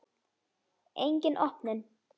Engin opnun.